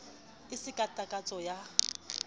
e se ka takatso ya